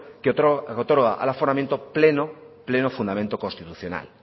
que otorga al aforamiento pleno fundamento constitucional